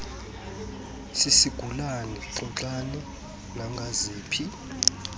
sisigulana xoxani nangaziphi